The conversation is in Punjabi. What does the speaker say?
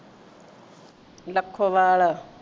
Lakhowal